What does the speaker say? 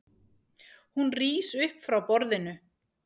Hún rís upp frá borðinu.